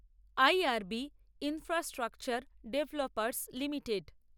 IRB infrastructure developers limited